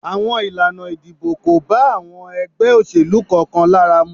Àwọn Ilana ìdìbò ko ba àwọn ègbé òṣèlú kan kan lára mu